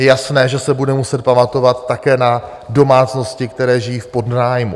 Je jasné, že se bude muset pamatovat také na domácnosti, které žijí v podnájmu.